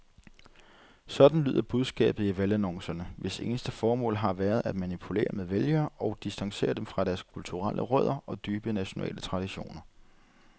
Sådan lyder budskabet i valgannoncerne, hvis eneste formål har været at manipulere med vælgere og distancere dem fra deres kulturelle rødder og dybe nationale traditioner.